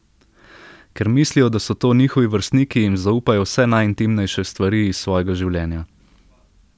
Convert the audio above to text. Ker mislijo, da so to njihovi vrstniki, jim zaupajo vse najintimnejše stvari iz svojega življenja.